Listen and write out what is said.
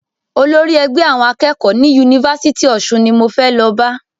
Olórí ẹgbẹ́ àwọn akẹ́kọ̀ọ́ ni Yunifásítì Ọ̀ṣun ni mo fẹ́ lọ bá.